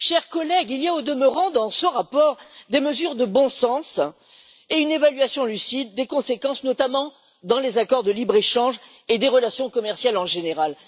Chers collègues, il y a, au demeurant, dans ce rapport, des mesures de bon sens et une évaluation lucide des conséquences, notamment dans les accords de libre échange et des relations commerciales, en général.